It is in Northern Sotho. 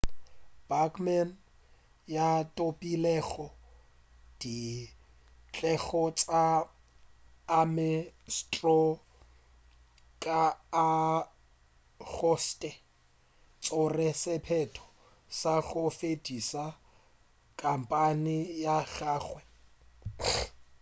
bachmann yo a thopilego dikgetho tša ames straw ka agostose o tšere sephetho sa go fediša khampeine ya gagwe